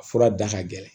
A fura da ka gɛlɛn